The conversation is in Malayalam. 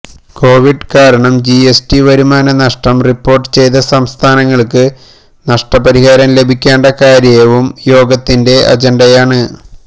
കോവിഡ് കാരണം ജിഎസ്ടി വരുമാന നഷ്ടം റിപ്പോർട്ട് ചെയ്ത സംസ്ഥാനങ്ങൾക്ക് നഷ്ടപരിഹാരം ലഭിക്കേണ്ട കാര്യവും യോഗത്തിന്റെ അജണ്ടയാണ്